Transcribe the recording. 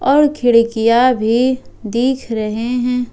और खिड़कियां भी दिख रहे हैं।